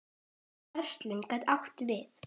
Verslun getur átt við